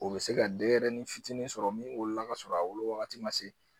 O bɛ se ka denyɛrɛnin fitinin sɔrɔ min wolola kasɔrɔ a wolo wagati ma se